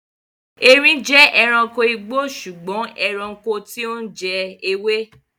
Eerin jẹ́ ẹranko igbó sùgbọ́n ẹranko tí ó ń jẹ ewé.